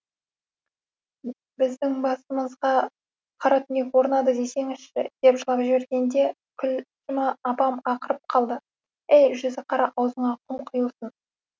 біздің басымызға қара түнек орнады десеңізші деп жылап жібергенде күлшім апам ақырып қалды әй жүзіқара аузыңа құм құйылсын